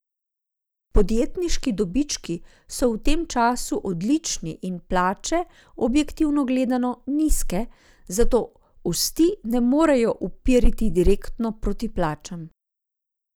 Podjetniški dobički so v tem času odlični in plače, objektivno gledano, nizke, zato osti ne morejo uperiti direktno proti plačam.